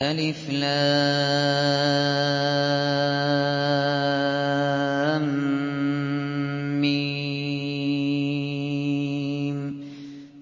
الم